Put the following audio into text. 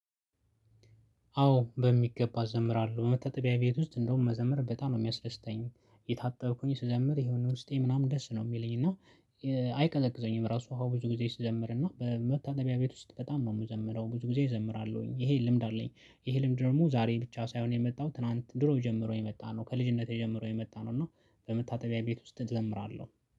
አዎ በሚገባ እዘምራለሁ በመታጠቢያ ቤት ውስጥ እንደውም መዘምር በጣም ነው የሚያስደስተኝ እየታጠብኩኝ ስዘምር የሆነ ውስጤ ምናምን ደስ ነው የሚለኝ እና አይቀዘቅዘኝም ራሱ ውሃው ብዙ ጊዜ ስዘምር እና በመታጠቢያ ቤት ውስጥ በጣም ነው የምዘምረው ብዙ ጊዜ እዘምራለሁኝ ይሄ ልምድ አለኝ። ይሄ ልምድ ደግሞ ዛሬ ብቻ ሳይሆን የመጣው ትላንት ድሮ ጀምሮ የመጣ ነው። ከልጅነቴ ጀምሮ የመጣ ነው። እና በመታጠቢያ ቤት ውስጥ እዘምራለሁ